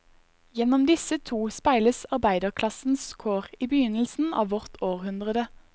Gjennom disse to speiles arbeiderklassens kår i begynnelsen av vårt århundrede.